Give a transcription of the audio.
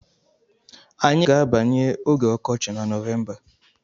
Anyị ga-abanye oge ọkọchị na Nọvemba.